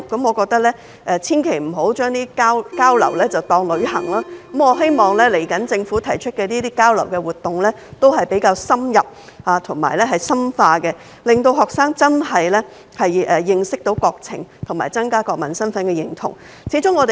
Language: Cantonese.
我認為千萬不要將交流當成旅行，希望日後的交流活動是比較深入和深化的，讓學生能夠認識國情和增加國民身份的認同。